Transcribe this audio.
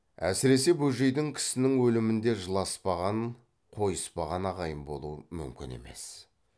әсіресе бөжейдей кісінің өлімінде жыласпағанын қойыспаған ағайын болу мүмкін емес